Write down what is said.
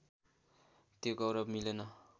त्यो गौरव मिलेन